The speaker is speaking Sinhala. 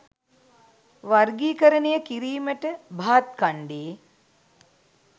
වර්ගීකරණය කිරීමට භාත්ඛණ්ඬේ